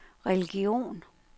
religion